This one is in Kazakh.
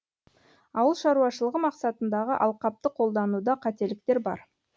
ауыл шаруашылығы мақсатындағы алқапты қолдануда қателіктер бар